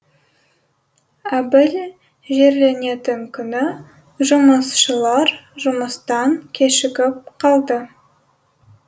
әбіл жерленетін күні жұмысшылар жұмыстан кешігіп қалды